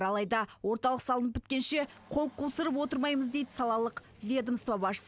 алайда орталық салынып біткенше қол қусырып отырмаймыз дейді салалық ведомство басшысы